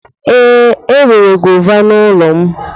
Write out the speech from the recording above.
Ee, enwere gọva n'ụlọ m.